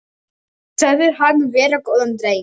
Sagðir hann vera góðan dreng.